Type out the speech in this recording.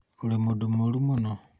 ũrĩ mũndũ mũũru mũno